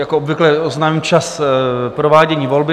Jako obvykle oznámím čas provádění volby.